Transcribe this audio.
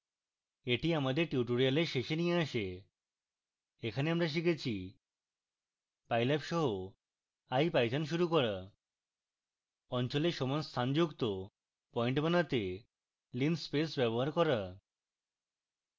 এটি আমাদের tutorial শেষে নিয়ে আসে এখানে আমরা শিখেছি: